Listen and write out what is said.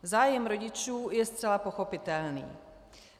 Zájem rodičů je zcela pochopitelný.